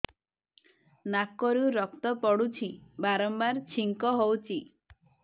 ନାକରୁ ରକ୍ତ ପଡୁଛି ବାରମ୍ବାର ଛିଙ୍କ ହଉଚି